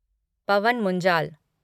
Pawan Munjal